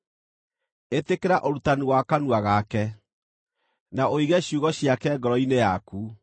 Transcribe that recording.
Ĩtĩkĩra ũrutani wa kanua gake, na ũige ciugo ciake ngoro-inĩ yaku.